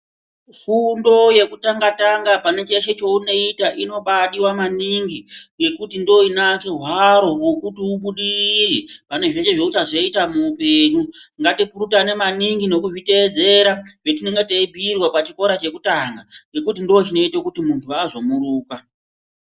Fundo yekutanga tanga pane cheshe chaunoita inombaidiwa maningi ngekuti ndiyo inowake hwaro rekuti ubudirire pane zveshe zvauchazoita muhupenyu ngatipurutane maningi nekuzviteedzera zvetinenge teyibhuyirwa pachikora chekutanga ngekuti ndochinoite kuti muntu azomuruka.